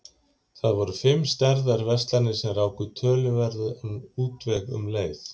Það voru fimm stærðar verslanir sem ráku töluverðan útveg um leið.